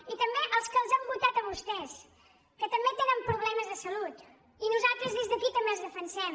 i també als que els han votat a vostès que també tenen problemes de salut i nosaltres des d’aquí també els defensem